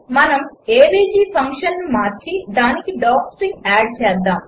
మనము ఏవీజీ ఫంక్షన్ను మార్చి దానికి డాక్స్ట్రింగ్ ఆడ్ చేద్దాము